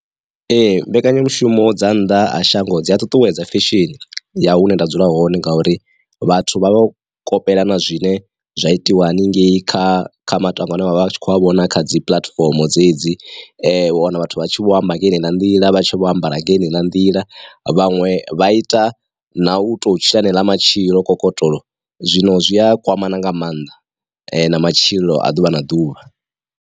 Ee mbekanyamushumo dza nnḓa ha shango dzi ṱuṱuwedza feshe ya hune nda dzula hone ngauri, vhathu vha vho kopela na zwine zwa itiwa hanengeyi kha kha matangwa a ne vha vha vha tshi khou a vhona kha dzi puḽatifomo dzedzi, u wana vhathu vha tshi vho amba ngeno na nḓila, vha tshi vho ambara nga heneiḽa nḓila, vhaṅwe vha ita na u to tshila haneḽa matshilo kokotolo, zwino zwi a kwamana nga maanḓa na matshilo a ḓuvha na ḓuvha.